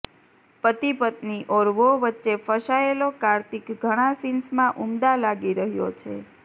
પતિ પત્ની ઔર વો વચ્ચે ફસાયેલો કાર્તિક ઘણા સીન્સમાં ઉમદા લાગી રહ્યો છે